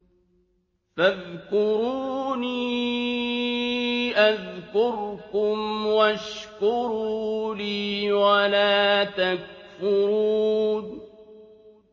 فَاذْكُرُونِي أَذْكُرْكُمْ وَاشْكُرُوا لِي وَلَا تَكْفُرُونِ